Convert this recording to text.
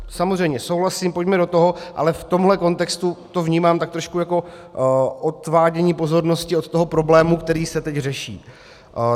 Samozřejmě souhlasím, pojďme do toho, ale v tomhle kontextu to vnímám tak trošku jako odvádění pozornosti od toho problému, který se teď řeší.